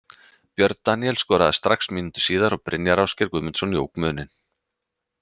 Björn Daníel skoraði strax mínútu síðar og Brynjar Ásgeir Guðmundsson jók muninn.